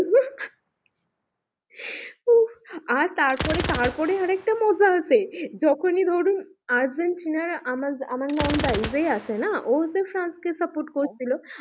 আর তারপরে তারপরে আর একটা মজা আছে যখনই ধরুন আর্জেন্টিনার আমার আমার নন্দাই যে আছে না ও হচ্ছে ফ্রান্সকে support করছিলো